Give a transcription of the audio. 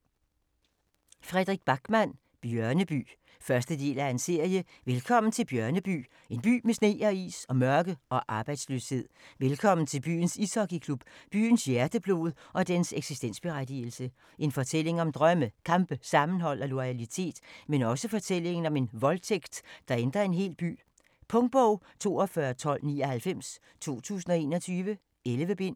Backman, Fredrik: Bjørneby 1. del af serie. Velkommen til Bjørneby; en by med sne og is og mørke og arbejdsløshed. Velkommen til byens ishockey-klub; byens hjerteblod og dens eksistensberettigelse. En fortælling om drømme, kampe, sammenhold og loyalitet, men også fortællingen om en voldtægt, der ændrer en hel by. Punktbog 421299 2021. 11 bind.